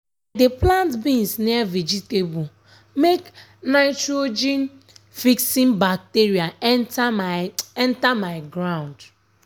i dey plant beans near vegetable make nitrogen-fixing bacteria enter my enter my ground. um